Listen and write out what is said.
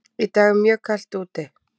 Í dag er mjög kalt úti.